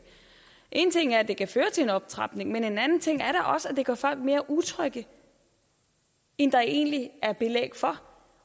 en ting er at det kan føre til en optrapning men en anden ting er da også at det gør folk mere utrygge end der egentlig er belæg for